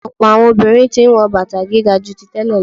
Ọ̀pọ̀ àwọn obìnrin tí ń wọ bàtà gíga ju tí tẹ́lẹ̀ lọ.